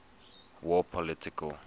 war political